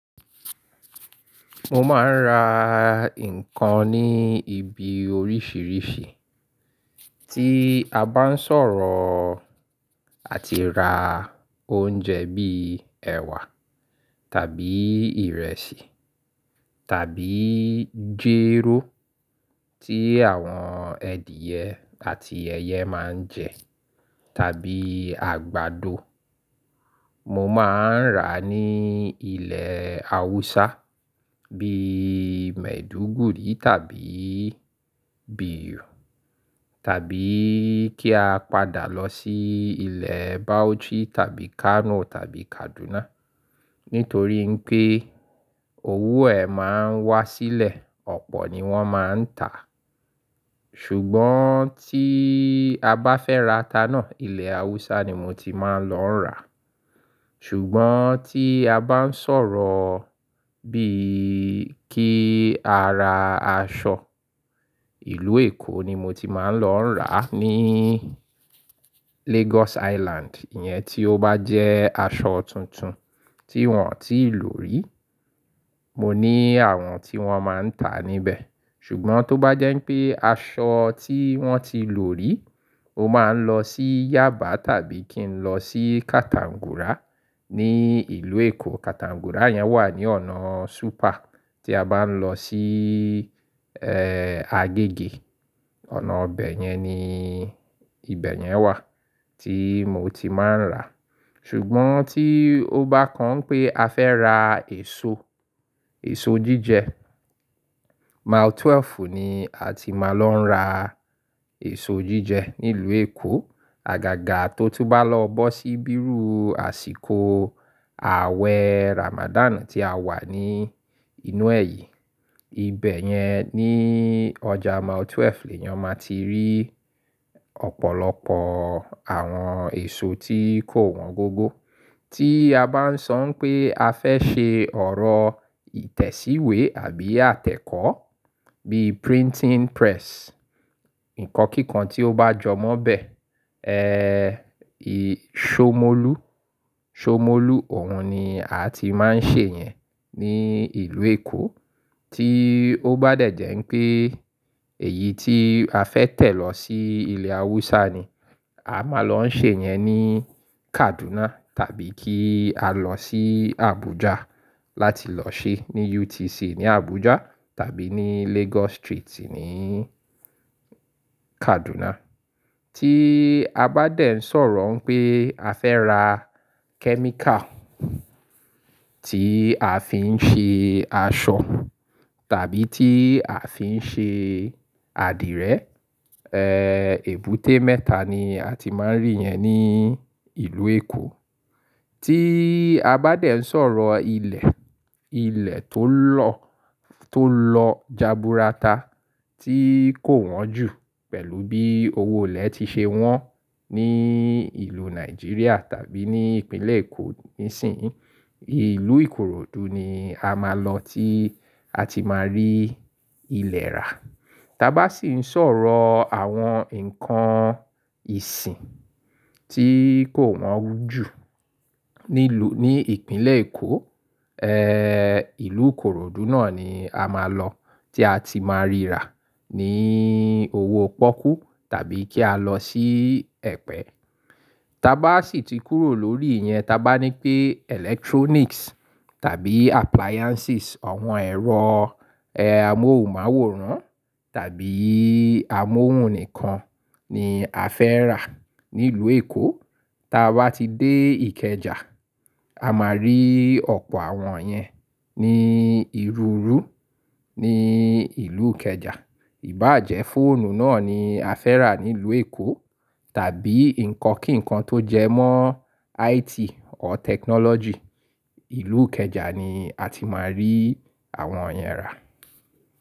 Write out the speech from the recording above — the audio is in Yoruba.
Mo máa ń ra nǹkan ní ibi oríṣìíríṣìí tí a bá ń sọ̀rọ̀ àti ra oúnjẹ bíi ẹ̀wà tàbí ìrẹsì tàbí jéró tí àwọn ẹ̀dìyẹ àti ẹ̀yẹ máa ń jẹ tàbí àgbàdo. Mo máa ń rà ní ilẹ̀ Haúsá bíi Maiduguri tàbí Biu tàbí kí a padà lọ sí ilẹ̀ Bauchi tàbí Kano tàbí Kaduna. Nítorí ń pé owó ẹ̀ máa ń wá sílẹ̀, ọ̀pọ̀ ni wọ́n máa ń tà. Ṣùgbọ́n tí a bá fẹ́ ra ata náà, ilẹ̀ Haúsá ni mo ti máa ń lọ rà. Ṣùgbọ́n tí a bá ń sọ̀rọ̀ bíi kí a ra aṣọ, ìlú Èkó ni mo ti máa ń lọ rà. Ni Lagos Island, ìyẹn tí ó bá jẹ́ aṣọ tuntun tí wọ́n ò tíì lò rí, mo ní àwọn tí wọ́n máa ń tà níbẹ̀. Ṣùgbọ́n tó bá jẹ́ ń pé aṣọ tí wọ́n ti lò rí, o máa ń lọ sí Yaba tàbí kí n lọ sí Katangura ní ìlú Èkó. Katangura yẹn wà ní ọ̀nà super tí a bá ń lọ sí, ẹ́ẹ́, Agege. Ọ̀nà ọbẹ̀ yẹn ni ibẹ̀ yẹn wà tí mo ti máa ń rà. Ṣùgbọ́n tí ó bá kan pé a fẹ́ ra èso, èso jíjẹ, Mile 12 ni a ti máa lọ ń rà èso jíjẹ nílùú Èkó. Àgàgà tó tú ba lọ bó sí bírù àsìkò àwẹ̀ Ramadan tí a wà ní inú ẹ̀yí, ibẹ̀ yẹn ní ọjà Mile 12 ni ẹ̀yàn máa ti rí ọ̀pọ̀lọpọ̀ àwọn èso tí kò wọ́n gógó. Tí a bá ń sọ pé a fẹ́ ṣe ọ̀rọ̀ ìtẹ̀síwẹ́ àbí àtẹ̀kọ́ bíi printing press, nǹkan kíkan tí ó bá jọ mọ́ bẹ́, Somolu, Somolu, òun ni a ti máa ń ṣe yẹn ní ìlú Èkó. Tí ó bá dẹ̀ jẹ́ ń pé èyí tí a fẹ́ tẹ̀ lọ sí ilẹ̀ Haúsá ni, a máa lọ ṣe yẹn ní Kaduna tàbí kí a lọ sí Abuja láti lọ ṣe ní UTC ní Abuja tàbí ní Lagos Street ní Kaduna. Tí a bá dẹ̀ ń sọ̀rọ̀ pé a fẹ́ ra kẹ́míkà tí a fi ń ṣe aṣọ tàbí tí a fi ń ṣe adìrẹ, èbúté mẹ́ta ni a ti máa ń rí yẹn ní ìlú Èkó. Tí a bá dẹ̀ ń sọ̀rọ̀ ilẹ̀, ilẹ̀ tó lọ-- tó lọ jaburata tí kò wọ́n jù pẹ̀lú bí owó ilẹ̀ ti ṣe wọ́n ní ìlú Nigeria tàbí ní ìpínlẹ̀ Èkó nísìnyí, ìlú Ìkoròdú ni a máa lọ tí a ti máa rí ilẹ̀ rà. Taa bá sì ń sọ̀rọ̀ àwọn nǹkan ìsìn tí kò wọ́n jù ní ìpínlẹ̀ Èkó, ìlú Ìkoròdú náà ni a máa lọ tí a ti máa rí rà ní owó pọ́kú tàbí kí a lọ sí Ẹ̀pẹ́. Taa bá sì ti kúrò lórí ìyẹn, ta bá ní pé electronics tàbí appliances, àwọn ẹ̀rọ, amóhùnmáwòrán tàbí amóhùn nìkan ni a fẹ́ rà nílùú Èkó, ta bá ti dé Ikeja, a máa rí ọ̀pọ̀ àwọn yẹn ní ìrùúrù ní ìlú Ikeja. Íbàjẹ́ fóònù náà ni a fẹ́ rà nílùú Èkó tàbí nǹkan kíkan tó jẹ́ mọ́ IT or technology, ìlú Ikeja ni a ti máa rí àwọn yẹn rà.